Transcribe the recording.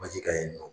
Baji ka ɲi nɔ